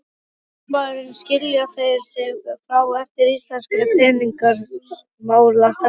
Fréttamaður: Skilja þeir sig frá einmitt íslenskri peningamálastefnu?